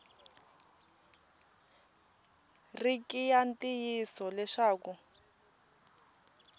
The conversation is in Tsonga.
ri ki ya ntiyiso leswaku